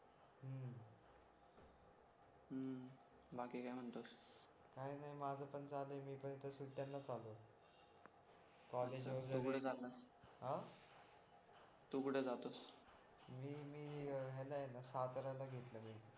हम्म बाकी काय म्हणतोस काय नाही माझं पण चालू आहे मी पण इथे सुट्ट्यांनाच आलो होतो कॉलेज वगैरे तू कुठे चाललास तू कुठे जातोस मी मी याला साताऱ्याला घेतला मी